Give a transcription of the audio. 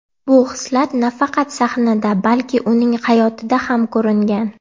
Bu hislat nafaqat sahnada, balki uning hayotida ham ko‘ringan.